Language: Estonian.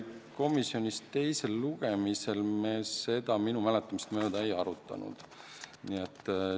Komisjonis me enne teist lugemist seda minu mäletamist mööda ei arutanud.